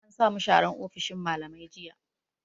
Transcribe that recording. An samu sharan ofishin mallamai jiya